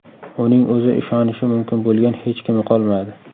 Uning o‘zi ishonishi mumkin bo‘lgan hech kimi qolmadi.